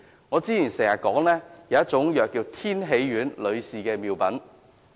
我之前經常以供女士服用的藥品天喜丸為例。